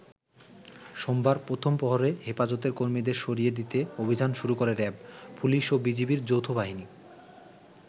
সোমবার প্রথম প্রহরে হেফাজতের কর্মীদের সরিয়ে দিতে অভিযান শুরু করে র‍্যাব, পুলিশ ও বিজিবি’র যৌথ বাহিনী।